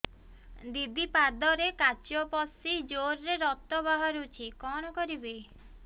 ଦିଦି ପାଦରେ କାଚ ପଶି ଜୋରରେ ରକ୍ତ ବାହାରୁଛି କଣ କରିଵି